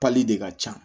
de ka ca